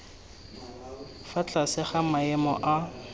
fa tlase ga maemo a